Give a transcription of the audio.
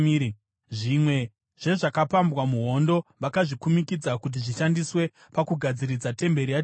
Zvimwe zvezvakapambwa muhondo vakazvikumikidza kuti zvishandiswe pakugadziridza temberi yaJehovha.